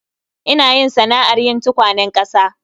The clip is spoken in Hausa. Ina yin sana'ar yin tukwanen ƙasa